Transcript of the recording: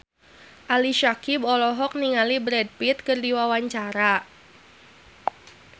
Ali Syakieb olohok ningali Brad Pitt keur diwawancara